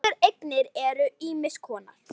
Þessar eignir eru ýmiss konar.